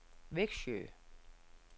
Vexjö